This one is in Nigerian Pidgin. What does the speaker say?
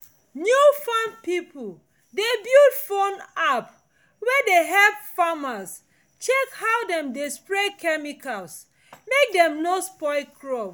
new farm people de build phone app wey dey help farmers check how dem dey spray chemicals mek dem no spoil crop